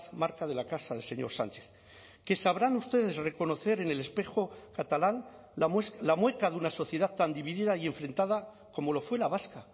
marca de la casa del señor sánchez que sabrán ustedes reconocer en el espejo catalán la mueca de una sociedad tan dividida y enfrentada como lo fue la vasca